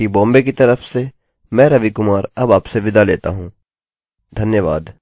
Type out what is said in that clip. मुझसे भाग 2 में मिलिए आई आई टी बॉम्बे की तरफ से मैं रवि कुमार अब आपसे विदा लेता हूँ धन्यवाद